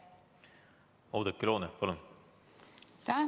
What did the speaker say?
Oudekki Loone, palun!